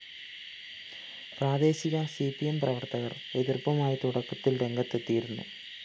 പ്രാദേശിക C P M പ്രവര്‍ത്തകര്‍ എതിര്‍പ്പുമായി തുടക്കത്തില്‍ രംഗത്തെത്തിയിരുന്നു